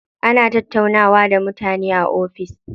Ana tattaunawa da mutane a cikin ofis.